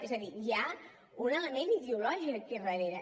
és a dir hi ha un element ideològic aquí darrere